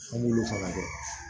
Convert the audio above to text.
An b'olu fana kɛ